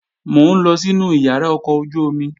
Mò ń lọ sínu ìyàrá ọkọ̀ ojú-omi